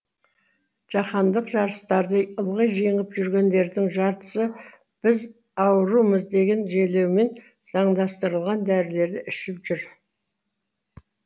жаһандық жарыстарды ылғи жеңіп жүргендердің жартысы біз аурумыз деген желеумен заңдастырылған дәрілерді ішіп жүр